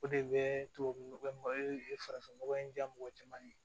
O de bɛ tubabu nɔgɔ e ye farafin nɔgɔ in diya mɔgɔ caman ye